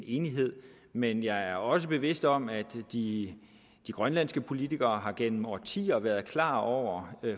enighed men jeg er også bevidst om at de grønlandske politikere gennem årtier har været klar over